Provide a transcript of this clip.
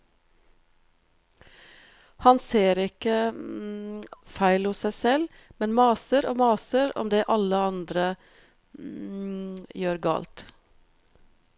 Han ser ikke feil hos seg selv, men maser og maser om det alle andre gjør galt.